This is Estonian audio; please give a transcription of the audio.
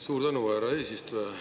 Suur tänu, härra eesistuja!